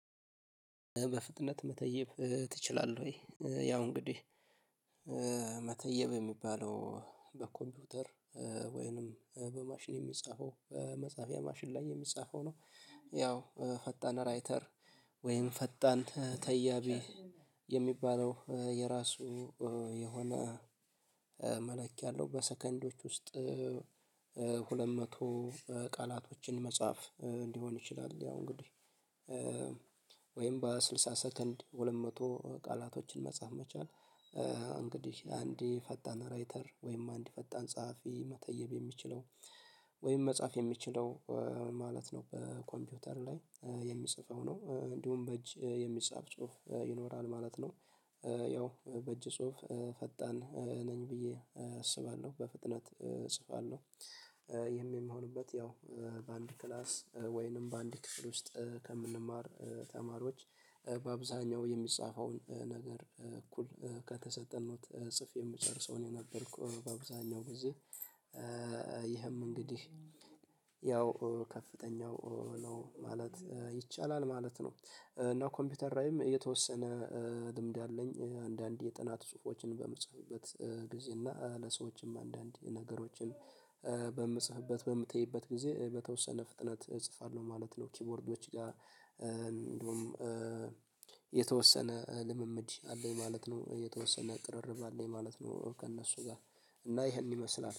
በፍጥነት መተየብ ትችላለህ? ወይ ያው እንግዲህ መተየብ የሚባለው በኮምፒውተር ወይንም በማሽን የሚጻፈው መጽሐፍያ ማሽን ላይ የሚጻፈው ነው። ያው ፈጣን ራይተር ወይም ፈጣን ተያቢ የሚባለው የራሱ የሆነ መላክ ያለው በሰከንዶች ውስጥ ሁለት መቶ ቃላቶችን መጻፍ እንዲሆን ይችላል። ያው እንግዲህ ወይም በስልሳ ሰከንድ ሁለት መቶ ቃላቶችን መጻፍ መቻል። እንግዲህ አንዴ ፈጣን ራይተር ወይም አንድ ፈጣን ጸሐፊ መተየብ የሚችለው ወይም መጻፍ የሚችለው ማለት ነው በኮምፒውተር ላይ የሚጽፈው ነው እንዲሁም በእጅ የሚጻፍ ጽሁፍ ይኖራል ማለት ነው። ያው በእጅ ጽሁፍ ፈጣን ነኝ ብዬ አስባለሁ በፍጥነት እጽፋለሁ። ይህም የምሆንበት ያው በአንድ ክላስ ወይንም በአንድ ክፍል ውስጥ ከምንማር ተማሪዎች በአብዛኛው የሚጻፈውን ነገር እኩል ከተሰጠን ኖት ጽፍ የምጨርሰውን የነበርኩ በብዛኛው ብዙ። ይህም እንግዲህ ያው ከፍተኛው ነው ማለት ይቻላል ማለት ነው። እና ኮምፒውተር ላይም የተወሰነ ልምድ አለኝ አንዳንዴ የጥናት ጽሁፎችን በምጽፍበት ጊዜ እና ለሰዎችም አንዳንድ ነገሮችን በምጽፍበት በምትይበት ጊዜ በተወሰነ ፍጥነት እጽፋለሁ ማለት ነው። ኪቦርዶች ጋር። እንደውም የተወሰነ ልምምድ አለኝ ማለት ነው የተወሰነ ቅርርብ አለኝ ማለት ነው። ከእነሱ ጋር እና ይሄን ይመስላል